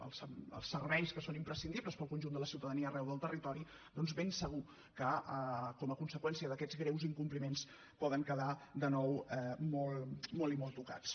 als serveis que són imprescindibles per al conjunt de la ciutadania arreu del territori doncs ben segur que com a conseqüència d’aquests greus incompliments poden quedar de nou molt i molt tocats